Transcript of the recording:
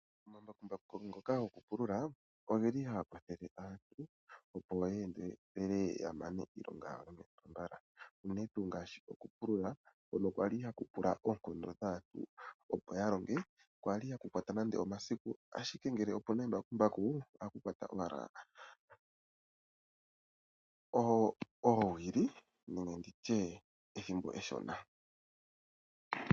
Omambumbaku ngoka gokupulula ohaga kwathele aantu, opo ye endelele ya mane iilonga yawo yomepya mbala, unene tuu ngaashi okupulula hono kwa li haku pula oonkondo dhaantu, opo ya longe, kwali haku kwata nade omasiku, ashike ngele opu na embakumbaku ohaku kwata owala oowili nenge ndi tye ethimbo eshona.